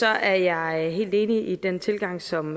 er jeg helt enig i den tilgang som